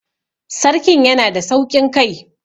Sarkin yanada sauƙin kai